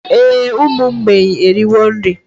Ee, ụmụ mgbei eriwo nri